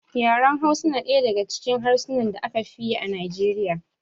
Yaran Hausa na ɗaya daga cikin harsunan da aka fi yi a Nijeriya.